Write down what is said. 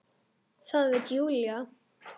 Það veit Júlía.